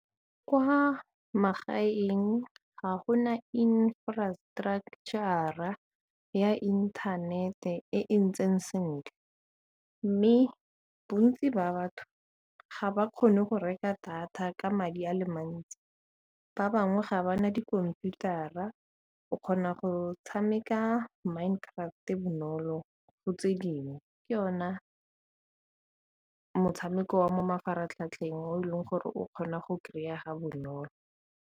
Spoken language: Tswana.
Kwa magaeng ga gona infrastructure-ra ya inthanete e e ntseng sentle, mme bontsi ba batho ga ba kgone go reka data ka madi a le mantsi, bangwe ga ba na dikhomputara, o kgona go tshameka mind craft bonolo go tse dingwe ke ona motshameko wa mo mafaratlhatlheng o e leng gore o kgona go kry-ega bonolo.